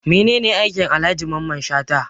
Mene ne aikin Alhaji Mamman Shata?